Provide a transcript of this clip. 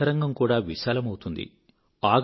మీ అంతరంగం కూడా విశాలమౌతుంది